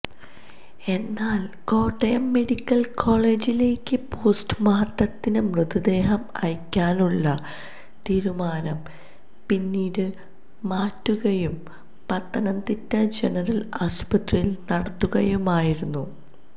എന്നാൽ കോട്ടയം മെഡിക്കൽ കോളജിലേക്ക് പോസ്റ്റുമോർട്ടത്തിന് മൃതദേഹം അയയ്ക്കാനുള്ള തീരുമാനം പിന്നീട് മാറ്റുകയും പത്തനംതിട്ട ജനറൽ ആശുപത്രിയിൽ നടത്തുകയുമായിരുന്നു